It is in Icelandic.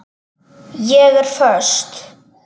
Ég er föst.